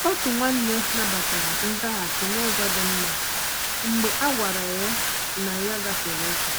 Otu nwanne nabatara nzaghachi n’ụzọ dị mma mgbe a gwara ya na ya gafere ókè.